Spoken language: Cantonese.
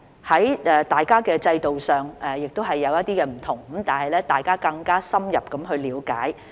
儘管在制度上有些差別，大家有了更加深入的了解。